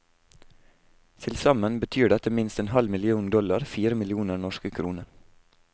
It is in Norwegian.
Tilsammen betyr dette minst en halv million dollar, fire millioner norske kroner.